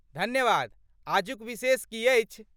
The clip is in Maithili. धन्यवाद, आजुक विशेष की अछि?